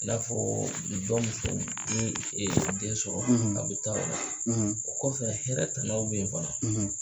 I n'a fɔ fo den sɔrɔ o kɔfɛ hɛrɛ tannaw bɛ yen fana.